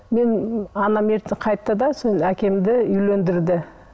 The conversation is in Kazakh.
мен анам ерте қайтты да әкемді үйлендірді